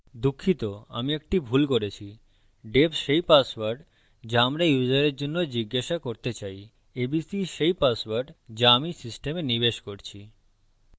দুঃখিত আমি একটি ভুল করেছি def সেই পাসওয়ার্ড যা আমরা ইউসারের জন্য জিজ্ঞাসা করতে চাই abc সেই পাসওয়ার্ড যা আমি system নিবেশ করছি